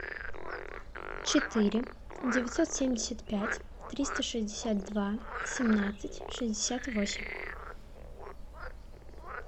четыре девятьсот семьдесят пять триста шестьдесят два семнадцать шестьдесят восемь